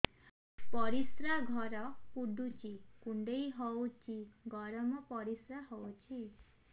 ପରିସ୍ରା ଘର ପୁଡୁଚି କୁଣ୍ଡେଇ ହଉଚି ଗରମ ପରିସ୍ରା ହଉଚି